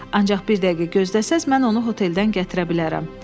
Ancaq bir dəqiqə gözləsəniz, mən onu hoteldən gətirə bilərəm.